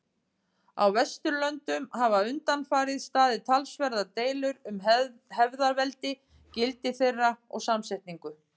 Á Vesturlöndum hafa undanfarið staðið talsverðar deilur um hefðarveldi, gildi þeirra og samsetningu.